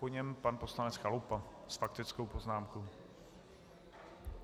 Po něm pan poslanec Chalupa s faktickou poznámkou.